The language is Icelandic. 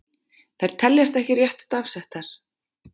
Þær teljast ekki rétt stafsettar.